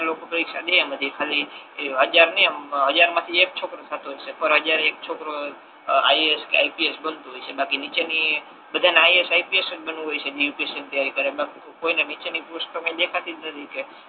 લોકો પરીક્ષા દે એમ ખાલી એ હજાર નહી આમ હજાર મા થી એક છોકરો થતો હસે પર હજારે એક છોકરો આઇએએસ કે આઇપીએસ બનતો હસે બાકી નીચે ની બધા ને આઇએએસ ને આઇપીએસ જ બનવુ હોય છે યુપીએસસી ની તૈયારી કર્યા પછી બધા ને નીચે ની પોસ્ટ તો દેખાતી જ નથી